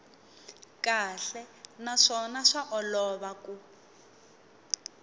kahle naswona swa olova ku